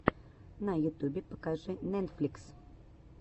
на ютюбе покажи нетфликс